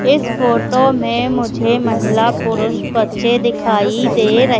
इस फोटो में मुझे महिला पुरुष बच्चे दिखाई दे र--